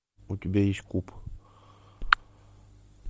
у тебя есть куб